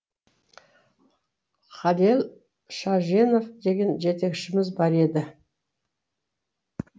халел шаженов деген жетекшіміз бар еді